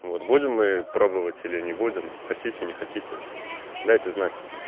вот будем мы пробовать или не будем хотите не хотите дайте знать